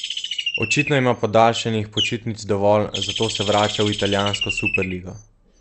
Očitno ima podaljšanih počitnic dovolj, zato se vrača v italijansko superligo.